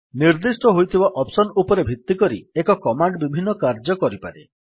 ନିର୍ଦ୍ଦିଷ୍ଟ ହୋଇଥିବା ଅପ୍ସନ୍ ଉପରେ ଭିତ୍ତି କରି ଏକ କମାଣ୍ଡ୍ ବିଭିନ୍ନ କାର୍ଯ୍ୟ କରିପାରେ